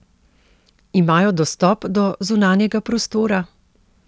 Imajo dostop do zunanjega prostora?